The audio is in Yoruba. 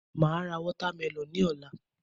Màá ra watermelon ní òla